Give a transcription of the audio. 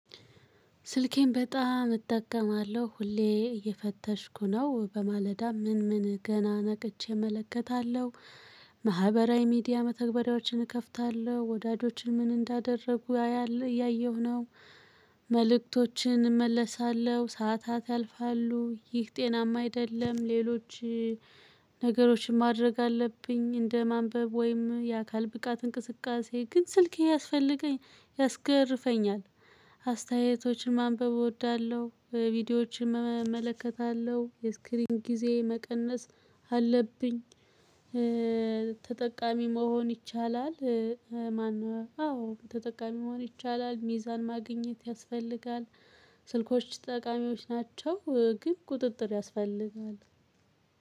ስልኬን በጣም እጠቀማለሁ ሁሌ እየፈተሽኩ ነው በማለዳ ምን ምን ገና ነቅቼ እመለከታለሁ። ማህበራዊ ሚዲያ መተግበሪያዎችን እከፍታለሁ ወዳጆችን ምን እንዳደረጉ ያያል እያየሁ ነው። መልእክቶችን እመለሳለሁ ሰዓታት ያልፋሉ ይህ ጤናማ አይደለም። ሌሎች ነገሮችን ማድረግ አለብኝ። እንደ ማንበብ ወይም የአካል ብቃት እንቅስቃሴ ግን ስልክ እያስፈለገኝ ያስገርፈኛል። አስተያየቶችን ማንበብ እወዳለሁ ቪዲዮዎችን እመለከታለሁ የስክሪን ጊዜ መቀነስ አለብኝ። ተጠቃሚ መሆን ይቻላል ማነው? አዎ ተጠቃሚ መሆን ይቻላል ሚዛን ማግኘት ያስፈልጋል። ስልኮች ጠቃሚዎች ናቸው። ግን ቁጥጥር ያስፈልጋል።